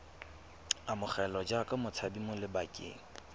amogelwa jaaka motshabi mo lebakeng